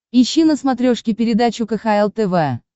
ищи на смотрешке передачу кхл тв